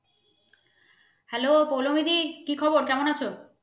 Hello Poulami di কি খবর কেমন আছ?